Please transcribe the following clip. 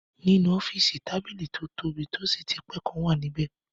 Nínú ọ́fìsì, tábìlì tó tóbi tó sì ti pé kan wà níbẹ